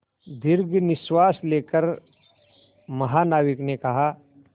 दीर्घ निश्वास लेकर महानाविक ने कहा